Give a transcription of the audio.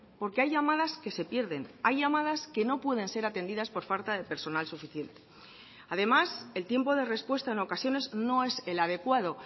porque hay llamadas que se pierden hay llamadas que no pueden ser atendidas por falta de personal suficiente además el tiempo de respuesta en ocasiones no es el adecuado